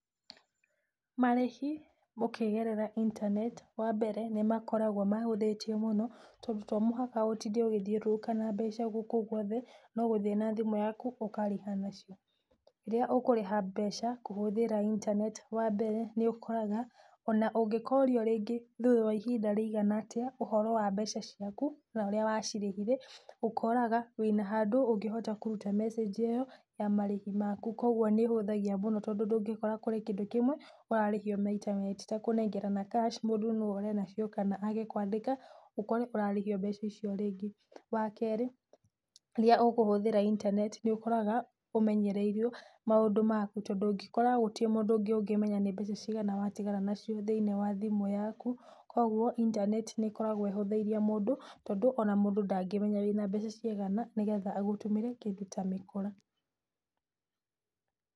Marĩhi ũkĩgerera internet, wa mbere nĩ makoragwo mahũthĩtie mũno tondũ to mũhaka ũtinde ũkĩthiũrũrũka na mbeca gũkũ gwothe no gũthiĩ na thimũ yaku ũkarĩha nacio. Rĩrĩa ũkũrĩha mbeca kũhũthĩra internet , wa mbere nĩ ũkoraga ona ũngĩkorio rĩngĩ thutha wa ihinda rĩigana atĩa, ũhoro wa mbeca ciaku, na ũrĩa wacirĩhire, ũkoraga wĩna handũ ungĩhota kũruta message ĩyo ya marĩhi maku, kogwo nĩ ĩhũthagia mũno tondũ ndũgikora kũrĩ kĩndũ kĩmwe ũrarĩhio maita merĩ. Ti ta kũnengerana cash mũndũ no ore na cio kana age kũandĩka ũkore ũrarĩhio mbeca icio rĩngĩ. Wa kerĩ, rĩrĩa ũkũhũthĩra internet, nĩ ũkoraga ũmenyereire maũndũ maku. Tondũ ũngĩkora gũtirĩ mũndũ ũngĩ ũngĩmenya nĩ mbeca cĩigana watigara nacio thĩiniĩ wa thimũ yaku. Kogwo internet nĩ ĩkoragwo ĩhũthĩirie mũndũ tondũ ona mũndũ ndangĩmenya wĩna mbeca cigana negetha agũtũmĩre kĩndũ ta mĩkora.